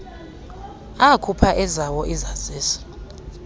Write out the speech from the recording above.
akhupha ezawo izazisi